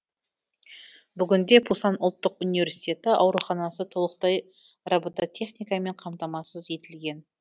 бүгінде пусан ұлттық университеті ауруханасы толықтай робототехникамен қамтамасыз етілген